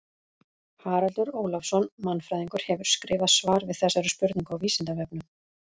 Haraldur Ólafsson mannfræðingur hefur skrifað svar við þessari spurningu á Vísindavefnum.